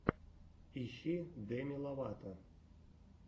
ищи деми ловато